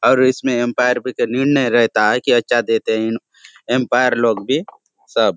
और इस में अंपायर पर निर्णय रहता है की अच्छा देते है इन अंपायर लोग भी सब --